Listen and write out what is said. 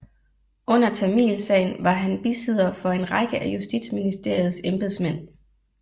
Under Tamilsagen var han bisidder for en række af Justitsministeriets embedsmænd